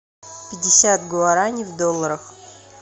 пятьдесят гуарани в долларах